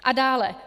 A dále.